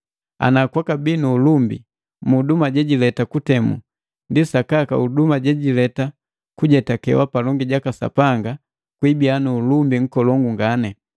Ana kwabii nu ulumbi mu huduma jela jejileta kutemu, ndi sakaka huduma jileta kujetakeka palongi jaka Sapanga gwiibiya nuulumbi nkolongu ngani.